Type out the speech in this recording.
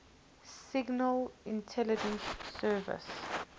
signal intelligence service